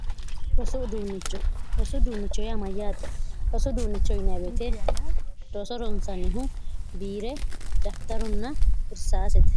hosu duunnichoh yaamayyaaxi osu duunicho uyinaebeete doso ronsannihu biire dafitarunna irsaasite